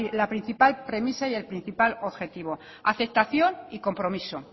la principal premisa y el principal objetivo aceptación y compromiso